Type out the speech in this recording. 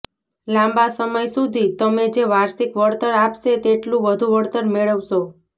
લાંબા સમય સુધી તમે જે વાર્ષિક વળતર આપશે તેટલું વધુ વળતર મેળવશો